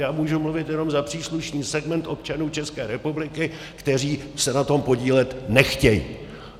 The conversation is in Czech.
Já můžu mluvit jenom za příslušný segment občanů České republiky, kteří se na tom podílet nechtějí.